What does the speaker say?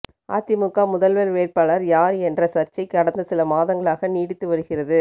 அதிமுக முதல்வர் வேட்பாளர் யார் என்ற சர்ச்சை கடந்த சில மாதங்களாக நீடித்து வருகிறது